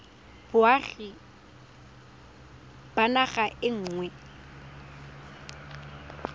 boagi ba naga e nngwe